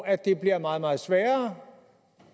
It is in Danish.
at det bliver meget meget sværere